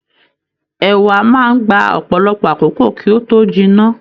Ẹ̀wà máa n gbà ọpọlọpọ àkókò kí o tó jìnnà.